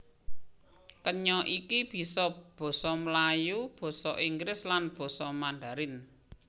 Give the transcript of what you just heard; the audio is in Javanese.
Kenya iki bisa basa Melayu basa Inggris lan basa Mandharin